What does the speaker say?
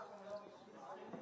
Əsas Azərbaycanlı oyunçu.